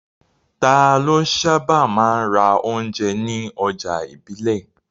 Ta ló sábà máa ń ra oúnjẹ ní ọjà ìbílẹ̀?